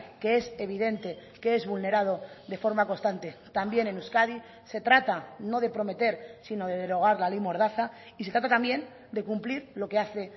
que es evidente que es vulnerado de forma constante también en euskadi se trata no de prometer sino de derogar la ley mordaza y se trata también de cumplir lo que hace